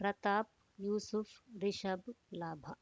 ಪ್ರತಾಪ್ ಯೂಸುಫ್ ರಿಷಬ್ ಲಾಭ